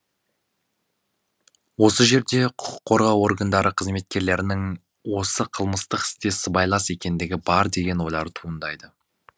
осы жерде құқық қорғау органдары қызметкерлерінің осы қылмыстық істе сыбайлас екендігі бар деген ойлар туындайды